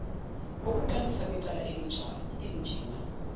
kokuqalisa kwecala elinjena